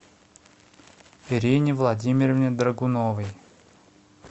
ирине владимировне драгуновой